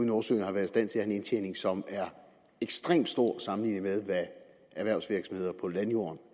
nordsøen har været i stand til at have en indtjening som er ekstremt stor sammenlignet med hvad erhvervsvirksomheder på landjorden